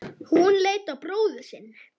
Hún leit á bróður sinn.